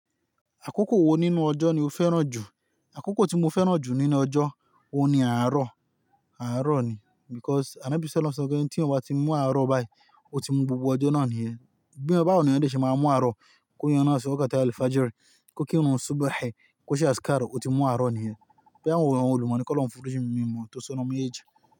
Àkókò wo nínú ọjọ́ ni o fẹ́ràn jù? Àkókò tí mo fẹ́ràn jù nínú ọjọ́, òun ni àárọ̀, àárọ̀ ni because anobí ṣe lọ́ sọ pé tí ọba ti mú àárọ̀ báyìí, ó ti mú gbogbo ọjọ́ náà nìyẹn. Gbé e bá òní ọjọ́ ṣe máa mú àárọ̀, kó yan náà sí ọkọ̀ tààlì fàájìrì, kó kírun súbàhì, kó ṣe àsíkàárò ó ti mú àárọ̀ nìyẹn. Bí àwọn olùkọ́ni kọ́ lọ́ fún ojú mi mímú, ó tó sọnù mi ẹ̀jẹ̀